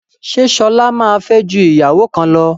Ṣé Ṣọlá máa fẹ́ ju ìyàwó kan lọ?